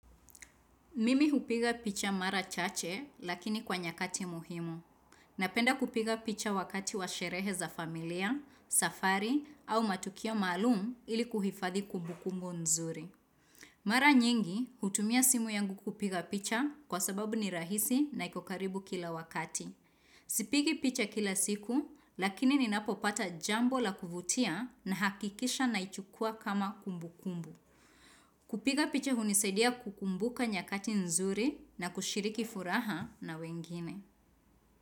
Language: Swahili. Mimi hupiga picha mara chache lakini kwa nyakati muhimu. Napenda kupiga picha wakati wa sherehe za familia, safari au matukio maalumu ili kuhifadhi kumbu kumbu nzuri. Mara nyingi hutumia simu yangu kupiga picha kwa sababu ni rahisi na iko karibu kila wakati. Sipigi picha kila siku lakini ninapopata jambo la kuvutia na hakikisha na ichukua kama kumbu kumbu. Kupiga picha hunisaidia kukumbuka nyakati nzuri na kushiriki furaha na wengine.